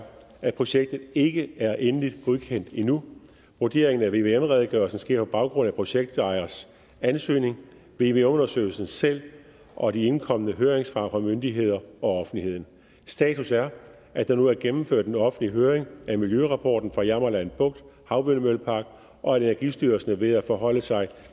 at projektet ikke er endeligt godkendt endnu vurderingen af vvm redegørelsen sker på baggrund af projektejers ansøgning vvm undersøgelsen selv og de indkomne høringssvar fra myndigheder og offentligheden status er at der nu er gennemført en offentlig høring af miljørapporten fra jammerland bugt havvindmøllepark og at energistyrelsen er ved at forholde sig